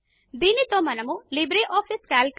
మా దీనితో మనము లిబ్రేఆఫీస్ కాల్క్